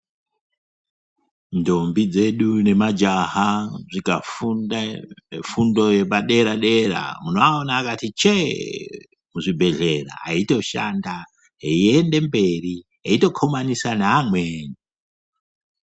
Ndombi dzedu nemajaha zvikafunda fundo yepadera-dera munovaona vakati chee muzvibhehleya eitoshanda, eiende mberi eitokhomanisa neamweni.